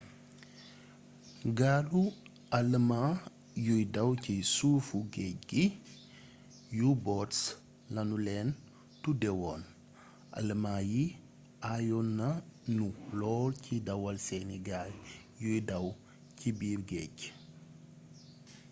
gaalu alëmaa yuy daw ci suufu géej gi u-boats lanu leen tuddeewoon alëmaa yi ayoon nanu lool ci dawal seeni gaal yuy daw c biir géej